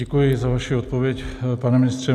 Děkuji za vaši odpověď, pane ministře.